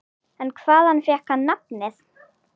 En hvaðan fékk hann nafnið?